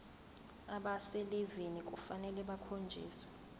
abaselivini kufanele bakhonjiswe